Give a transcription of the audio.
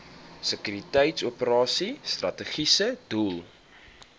sekuriteitsoperasies strategiese doel